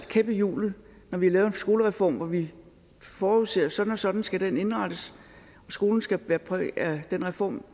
kæp i hjulet når vi har lavet en skolereform hvor vi forudser at sådan og sådan skal den indrettes og skolen skal bære præg af den reform